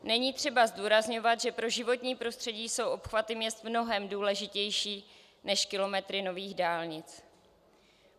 Není třeba zdůrazňovat, že pro životní prostředí jsou obchvaty měst mnohem důležitější než kilometry nových dálnic.